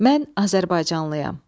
Mən azərbaycanlıyam.